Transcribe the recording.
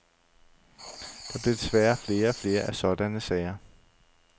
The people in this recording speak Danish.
Der bliver desværre flere og flere af sådanne sager.